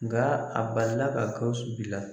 Nga a balila ka GAWUSU bila.